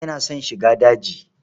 Audu yana son shiga daji.